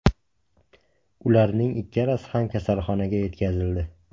Ularning ikkalasi ham kasalxonaga yetkazildi.